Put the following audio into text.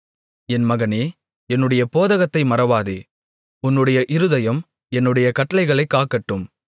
என் மகனே என்னுடைய போதகத்தை மறவாதே உன்னுடைய இருதயம் என்னுடைய கட்டளைகளைக் காக்கட்டும்